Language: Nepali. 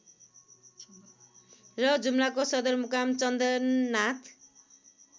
र जुम्लाको सदरमुकाम चन्दननाथ